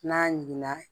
N'a ɲiginna